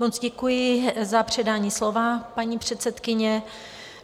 Moc děkuji za předání slova, paní předsedkyně.